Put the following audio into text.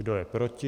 Kdo je proti?